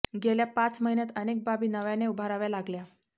गेल्या पाच महिन्यात अनेक बाबी नव्याने उभाराव्या लागल्या